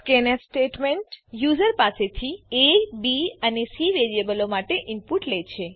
scanf statement user પાસેથી aબી અને સી વેરીએબલો માટે ઈનપુટ લે છે